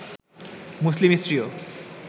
মুসলিম স্ত্রীও